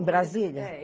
Em Brasília? É